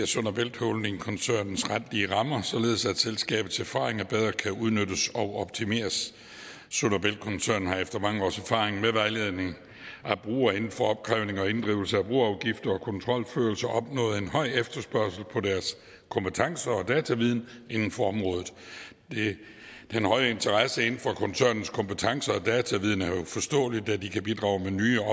sund bælt holding as koncernens retlige rammer således at selskabets erfaringer bedre kan udnyttes og optimeres sund og bælt koncernen har efter mange års erfaring med vejledning af brugere inden for opkrævning og inddrivelse af broafgifter og kontrolførelse opnået en høj efterspørgsel på deres kompetence og dataviden inden for området den høje interesse for koncernens kompetence og deres dataviden er jo forståelig da de kan bidrage med nye